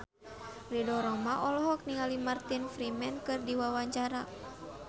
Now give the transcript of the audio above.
Ridho Roma olohok ningali Martin Freeman keur diwawancara